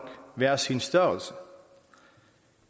hver sin størrelse